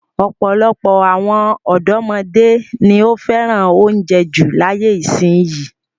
Ọ̀pọ̀lọpọ̀ àwọn ọ̀dọ́mọdé ni ó fẹ́ràn oúnjẹ jù láyé ìsìnyín.